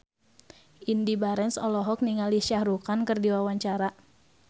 Indy Barens olohok ningali Shah Rukh Khan keur diwawancara